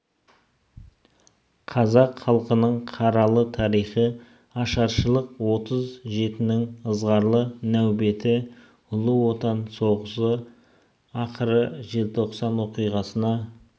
қазақ халқының қаралы тарихы ашаршылық отыз жетінің ызғарлы нәубеті ұлы отан соғысы ақыры желтоқсан оқиғасына